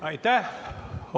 Aitäh!